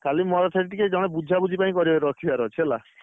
ଖାଲି ମୋର ସେଇଠି ଟିକେ ମୋର ବୁଝାବୁଝି କରିଆ ରଖିବାର ଅଛି ହେଲା।